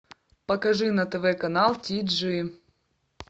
покажи на тв канал ти джи